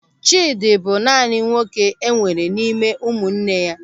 Chidi bụ naanị nwoke enwere n'ime ụmụnne ya.